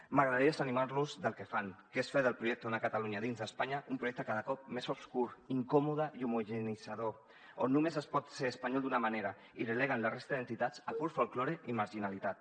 m’agradaria desanimar los del que fan que és fer del projecte d’una catalunya dins d’espanya un projecte cada cop més obscur incòmode i homogeneïtzador on només es pot ser espanyol d’una manera i deleguen la resta d’entitats a pur folklore i marginalitat